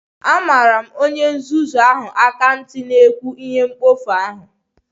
Amara m onye nzuzu ahụ na-ekwu ihe mkpofu ahụ